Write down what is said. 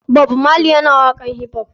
Bob marley yana waƙan hip hop ne.